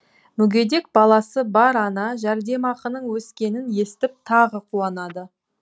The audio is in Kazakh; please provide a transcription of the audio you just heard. мүгедек баласы бар ана жәрдемақының өскенін естіп тағы қуанады